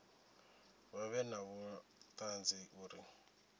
vha vhe na vhuṱanzi uri